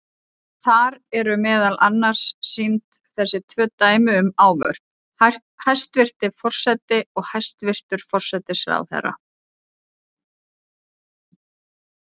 Þar eru meðal annars sýnd þessi tvö dæmi um ávörp: hæstvirti forseti og hæstvirtur forsætisráðherra.